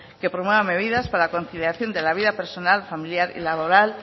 que promuevan medidas para la conciliación de la vida personal familiar y laboral